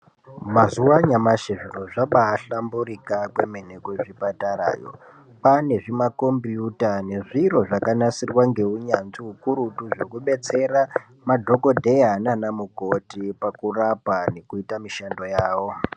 Mazuva anyamashi zviro zvabaa hlamburika kwemene kuzvipatara yoo kwaane zvimakombuyuta nezviro zvakanasirwa ngounyanzvi ukurutu zvekubetsera madhokodhera naana mukoti pakurapa nekuita mishando yawo.